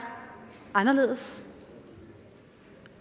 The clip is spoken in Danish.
anderledes